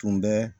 Tun bɛ